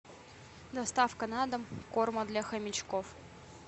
доставка на дом корма для хомячков